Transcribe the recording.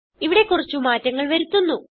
ഇവിടെ കുറച്ചു മാറ്റങ്ങൾ വരുത്തുന്നു